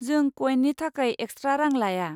जों कयेननि थाखाय एक्सट्रा रां लाया।